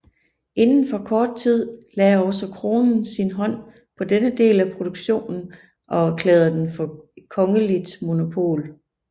Inden for kort tid lagde også kronen sin hånd på denne del af produktionen og erklærede den for kongeligt monopol